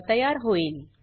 वर तयार होईल